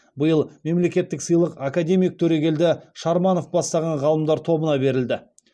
биыл мемлекеттік сыйлық академик төрегелді шарманов бастаған ғалымдар тобына берілді